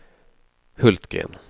Hultgren